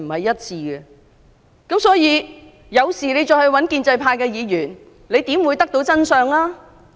因此，如果市民有事要向建制派議員求助，又怎會得知真相？